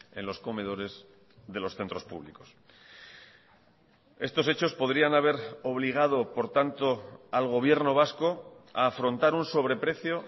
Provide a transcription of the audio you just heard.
en los comedores de los centros públicos estos hechos podrían haber obligado por tanto al gobierno vasco a afrontar un sobreprecio